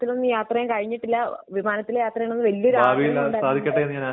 യാത്ര ചെയ്യാൻ കഴിഞ്ഞിട്ടില്ല. വിമാനത്തിൽ യാത്ര ചെയ്യണമെന്ന് വലിയ ഒരു ആഗ്രഹം ഉണ്ട്